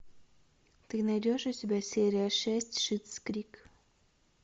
ты найдешь у себя серия шесть шиттс крик